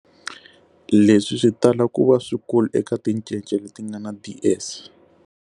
Leswi swi tala ku va swikulu eka tincece leti nga na DS.